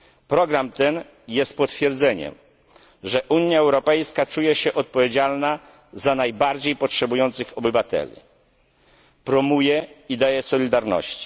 Program ten jest potwierdzeniem, że Unia Europejska czuje się odpowiedzialna za najbardziej potrzebujących obywateli, promuje idee solidarności.